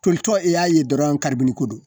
Tolitɔ i y'a ye dɔrɔn kari ni ko don